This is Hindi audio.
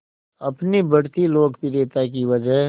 अपनी बढ़ती लोकप्रियता की वजह